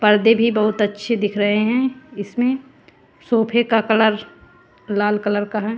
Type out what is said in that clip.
पर्दे भी बहुत अच्छे दिख रहे हैं इसमें सोफे का कलर लाल कलर का है।